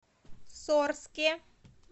сорске